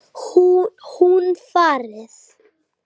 Hún farið.